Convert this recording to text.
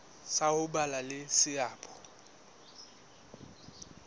sa ho ba le seabo